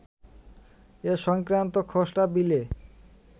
এ সংক্রান্ত খসড়া বিলে